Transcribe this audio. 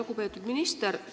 Lugupeetud minister!